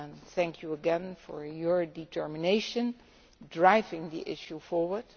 Thank you again for your determination in driving the issue forward.